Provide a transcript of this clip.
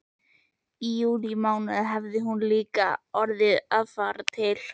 Í júlímánuði hefur hún líka orðið að fara til